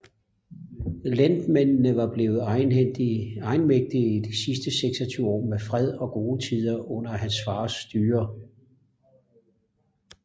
Lendmændene var blevet egenmægtige i de 26 år med fred og gode tider under hans fars styre